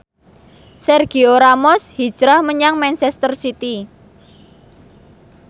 Sergio Ramos hijrah menyang manchester city